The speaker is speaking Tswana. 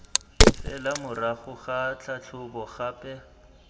fela morago ga tlhatlhobo gape